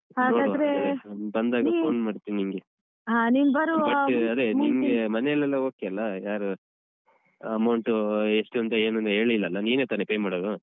Phone ಮಾಡ್ತೀನಿ ನಿಂಗೆ. ಅದೇ ನಿಮ್ಗೆ ಮನೆಯಲ್ಲೆಲ್ಲ okay ಅಲ್ಲ ಯಾರು amount ಎಷ್ಟೂಂತ ಏನೂನೂ ಹೇಳಿಲ್ಲಲ್ಲ ನೀನೆ ತಾನೆ pay ಮಾಡೋದು?